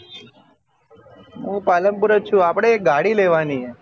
હું પાલનપુર જ છુ આપડે એક ગાડી લેવાની હે